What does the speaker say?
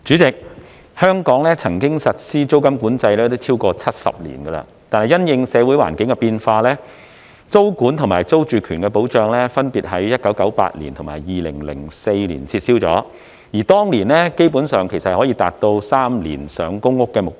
主席，香港曾經實施租金管制超過70年，但因應社會環境的變化，租管及租住權保障分別在1998年及2004年撤銷，而當年基本上可達到3年上公屋的目標。